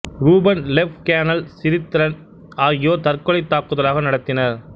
ரூபன் லெப் கேணல் சிரித்தரன் ஆகியோர் தற்கொலைத் தாக்குதலாக நடத்தினர்